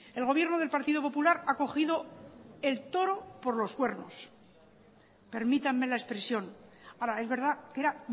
el gobierno del partido popular ha cogido el toro por los cuernos permítanme la expresión ahora es verdad que era